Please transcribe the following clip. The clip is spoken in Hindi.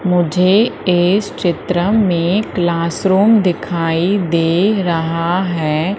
मुझे इस चित्र में क्लासरूम दिखाई दे रहा है।